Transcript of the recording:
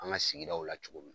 An ka sigidaw la cogo min.